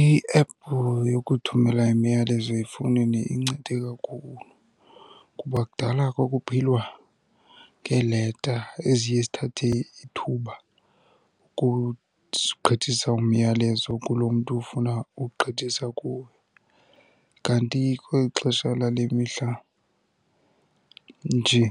Iephu yokuthumela imiyalezo efowunini incede kakhulu kuba kudala kwakuphilwa ngeeleta eziye zithathe ithuba ukugqithisa umyalezo kulo mntu ufuna uwugqithisa kuwo. Kanti kweli xesha lale mihla nje